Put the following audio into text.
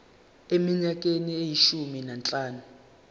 eminyakeni eyishumi nanhlanu